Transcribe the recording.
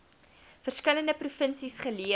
verskillende provinsies geleë